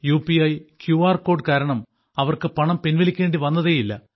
U P I Q R code കാരണം അവർക്കു പണം പിൻവലിക്കേണ്ടി വന്നതേയില്ല